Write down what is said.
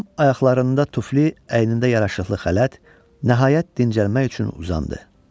Tom ayaqlarında tufli, əynində yaraşıqlı xələt, nəhayət dincəlmək üçün uzandı.